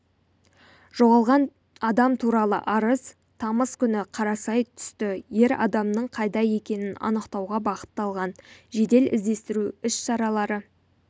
жоғалған адам туралы арыз тамыз күні қарасай түсті ер адамның қайда екенін анықтауға бағытталған жедел-іздестіру іс-шаралары